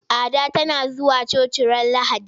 Ada tana zuwa coci ranar Lahadi.